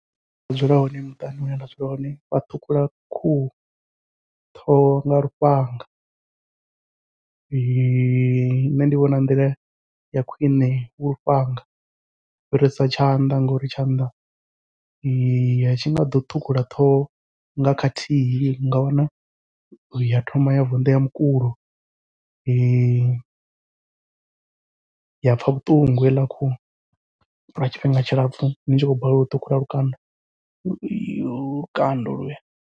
Hune nda dzula hone muṱani hune nda dzula hone wa ṱhukhula khuhu, ṱhoho nga lufhanga nṋe ndi vhona nḓila ya khwiṋe hu lufhanga u fhirisa tshanḓa, ngauri tshanḓa atshi nga ḓo ṱhukhula ṱhoho nga khathihi ninga wana ya thoma ya vunḓea mukulo ya pfha vhuṱungu heiḽa khuhu lwa tshifhinga tshilapfhu ni tshi khou balelwa u ṱhukhula lukanda lukanda holuya.